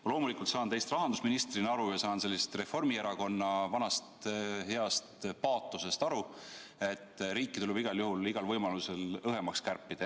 Ma loomulikult saan teist kui rahandusministrist aru ja saan sellest Reformierakonna vanast heast paatosest aru, et riiki tuleb igal juhul ja igal võimalusel õhemaks kärpida.